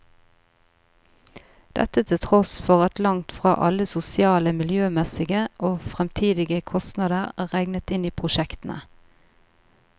Dette til tross for at langt fra alle sosiale, miljømessige og fremtidige kostnader er regnet inn i prosjektene.